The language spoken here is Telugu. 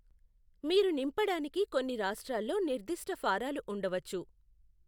మీరు నింపడానికి కొన్ని రాష్ట్రాల్లో నిర్ధిష్ట ఫారాలు ఉండవచ్చు.